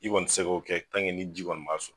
I kɔni te se k'o kɛ tan ke ni ji kɔni'ma sɔrɔ